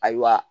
Ayiwa